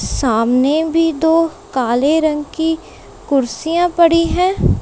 सामने भी दो काले रंग की कुर्सियां पड़ी है।